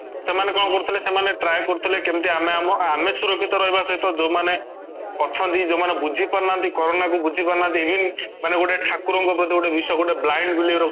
ସେମାନେ କ'ଣ କରୁଥିଲେ ସେମାନେ try କରୁଥିଲେ କେମିତି ଆମେ ଆମ ଆମେ ସୁରକ୍ଷିତ ରହିବା ସହିତ ଯୋଉ ମାନେ ଅଛନ୍ତି ଯୋଉ ମାନେ ବୁଝୁପାରୁନାହାନ୍ତି କରୋନା କୁ ବୁଝିପାରୁନାହାନ୍ତି even ମାନେ ଗୋଟେ ଠାକୁର ଙ୍କ ପ୍ରତି ଗୋଟେ ବିଶ୍ୱାସ ମାନେ blind believe ରଖୁଛନ୍ତି